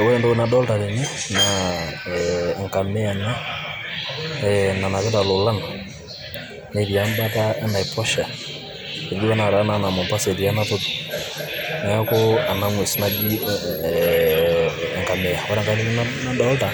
Ore entoki nadolita tene, naa ee enkamia ena e nanapiata lolan, netii em'bata enaiposha, etiu enaa mombasa etii ena toki, neeku enang'ues naji ee ee enkamia. Ore enkae toki nadoolta